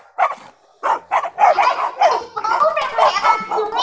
Hvernig förum við að því?